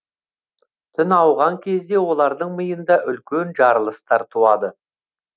түн ауған кезде олардың миында үлкен жарылыстар туады